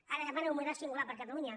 ara demanen un model singular per a catalunya